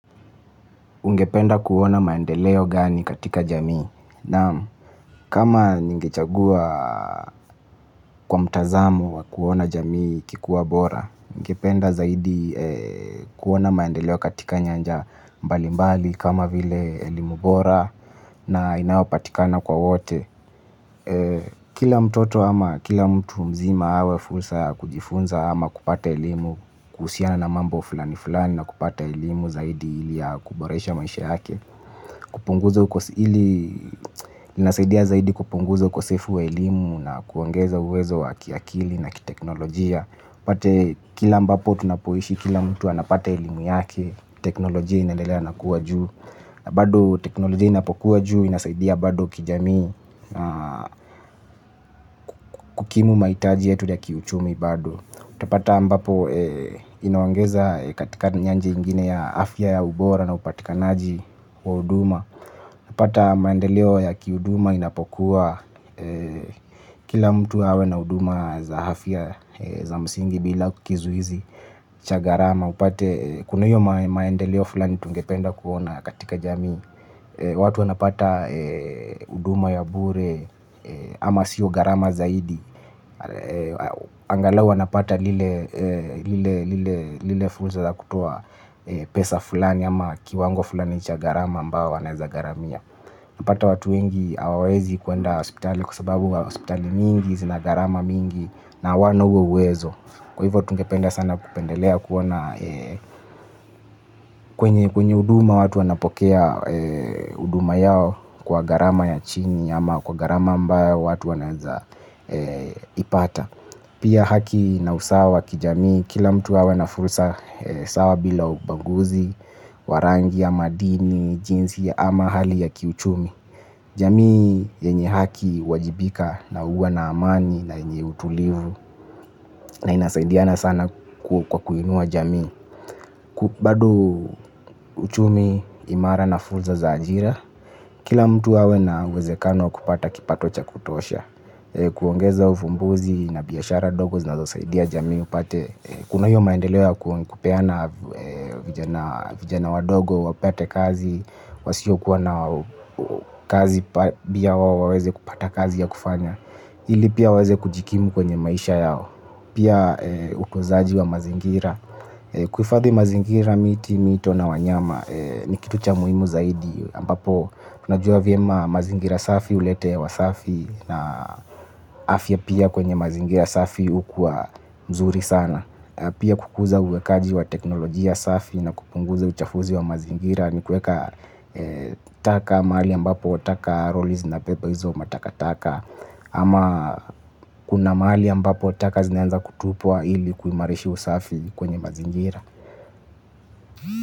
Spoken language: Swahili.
Ungependa kuona maendeleo gani katika jamii? Naam, kama ningechagua, kwa mtazamu wa kuona jamii ikikua bora, ningependa zaidi kuona maendeleo katika nyanja mbali mbali kama vile elimu bora na inayopatikana kwa wote. Kila mtoto ama kila mtu, mzima, awe fursa ya kujifunza ama kupata elimu kuhusiana na mambo fulani fulani na kupata elimu zaidi ili, ya kuboresha maisha yake. Kupunguza ukosili, inasaidia zaidi kupunguza ukosefu wa elimu na kuongeza uwezo wa kiakili na kiteknolojia. Pate kila ambapo tunapoishi kila mtu anapata elimu yake, teknolojia inalendelea na kuwa juu. Bado, teknolojia inapokua juu inasaidia bado kijamii. Kukimu maitaji yetu ya kiuchumi bado. Utapata ambapo inaongeza katika njia ingine ya afya ya ubora na upatikanaji, wa uduma pata maendeleo ya kiuduma inapokuwa, kila mtu awe na uduma za afya za msingi bila kizuizi. Chagarama upate kuna hiyo maendeleo fulani tungependa kuona katika jamii. Watu wanapata uduma ya bure, ama sio garama zaidi. Angalau wanapata lile fursa za kutoa pesa fulani ama kiwango fulani chagarama ambao wanaezagaramia. Pata watu wengi hawawezi kuenda hospitali kwa sababu wa hospitali mingi zina garama mingi na hawana huo uwezo. Kwa hivyo tungependa sana kupendelea kuona, kwenye uduma watu wanapokea uduma yao kwa garama ya chini ama kwa garama ambayo watu wanaenza ipata. Pia haki na usawa kijamii. Kila mtu awe na fursa sawa bila ubaguzi wa rangia ama dini jinsi ama hali ya kiuchumi. Jamii, yenye haki uwajibika na uwa na amani na yenye utulivu na inasaidiana sana kwa kuinua jamii. Bado uchumi, imara na fulsa za ajira, kila mtu awe na uwezekano wa kupata kipato cha kutosha. Kuongeza ufumbuzi na biashara dogo zinazo saidia jamii upate. Kuna hiyo maendeleo ya kupeana vijana wadogo, wapate kazi, wasiokuwa na kazi bia wao waweze kupata kazi ya kufanya. Hili pia, waweze kujikimu kwenye maisha yao. Pia, ukozaji wa mazingira. Kuifadhi mazingira miti, mito na wanyama. Ni kitu cha muhimu zaidi. Ambapo, na jua vyema mazingira safi ulete hewa safi na afya pia kwenye mazingira safi ukua mzuri sana. Pia, kukuza uwekaji wa teknolojia safi na kupunguza uchafuzi wa mazingira ni kueka, taka maali ambapo taka roli zinabeba hizo mataka taka ama, kuna maali ambapo taka zinaenza kutupwa ili, kuimarishi usafi kwenye mazingira.